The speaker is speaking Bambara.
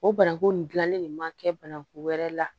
O bananku nin dilanli nin ma kɛ bananku wɛrɛ la